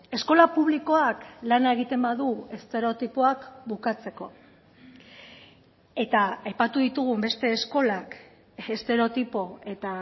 eskola publikoak lana egiten badu estereotipoak bukatzeko eta aipatu ditugun beste eskolak estereotipo eta